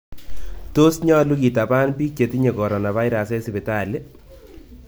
Tos nyolu kitapan piik chetinye coronavirus en sipitali?